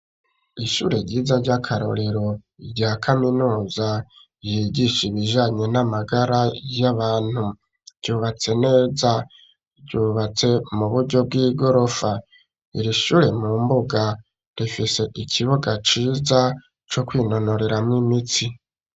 Ishure ryiza ry'akarorero rya kaminuza ryigisha ibijanye n'amagara y'abantu ryubatse neza ryubatse mu buryo bw'igorofa iri shure mu mbuga rifise ikibuga ciza co kwinonoreramo imitsi